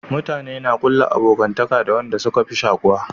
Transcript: Mutane na kulla abokantaka da wanda suka fi shakuwa